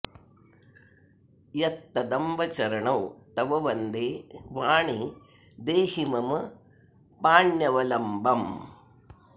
यत्तदम्ब चरणौ तव वन्दे वाणि देहि मम पाण्यवलम्बम्